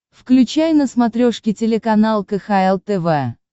включай на смотрешке телеканал кхл тв